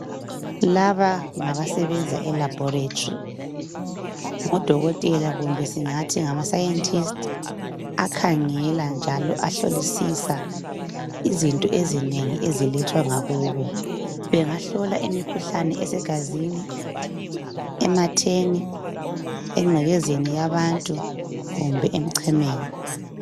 Laba ngabasebenza elaboratory ngodokotela kumbe singathi ngamscientist akhangela njalo ahlolisisa izinto ezinengi ezilethwa ngakubo. Bengahlola imikhuhlane esegazini, ematheni, engcekezeni yabantu kumbe emchemeni.